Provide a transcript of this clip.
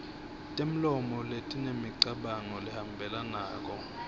temlomo letinemicabango lehambelanako